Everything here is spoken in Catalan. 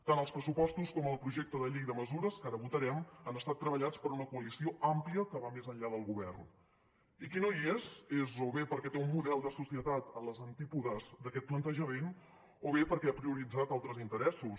tant els pressupostos com el projecte de llei de mesures que ara votarem han estat treballats per una coalició àmplia que va més enllà del govern i qui no hi és és o bé perquè té un model de societat a les antípodes d’aquest plantejament o bé perquè ha prioritzat altres interessos